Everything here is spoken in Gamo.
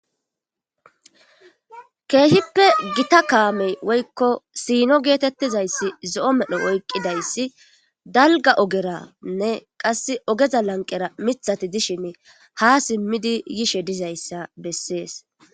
Keehippe gita kaamey woykko siino geetettizayssi zo7o medho oyqqidayssi dalgga ogeranne qass ogeza lanqera mithati dishin ha simmidi yishe dizayssa bessees.